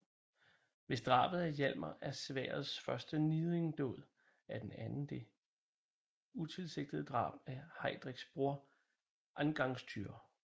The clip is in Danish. Hvis drabet af Hjalmar er sværdets første niddingdåd er den anden det utilsigtede drab af Heidreks bror Angangtyr